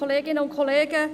– Jetzt funktioniert es.